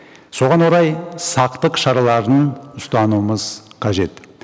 соған орай сақтық шараларын ұстануымыз қажет